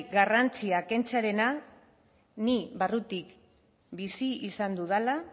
garrantzia kentzearena ni barrutik bizi izan dudala